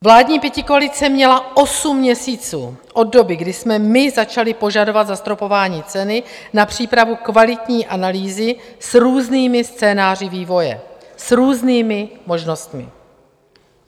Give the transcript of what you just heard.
Vládní pětikoalice měla osm měsíců od doby, kdy jsme my začali požadovat zastropování ceny, na přípravu kvalitní analýzy s různými scénáři vývoje, s různými možnostmi.